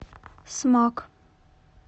смак